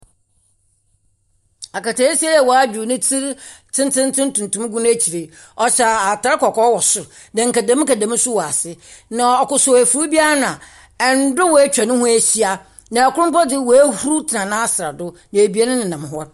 Aketesia yi a wadwow netsir tsentseentsen tuntum gu n'ekyir yi, ɔhyɛ atar kɔkɔɔ wɔ sor na nkɛdem nkɛdem nso wɔ ase. Na ɔkosow efui bi ano a ndwee etwa ne ho ehyia, na ɔkor mpo dze wehuruw tsena nasrɛ do, na ebien menam hɔ.